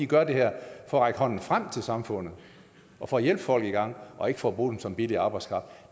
gør det her for at række hånden frem til samfundet og for at hjælpe folk i gang og ikke for at bruge dem som billig arbejdskraft